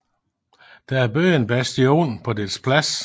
Der er bygget en bastion på dets plads